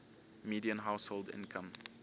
median household income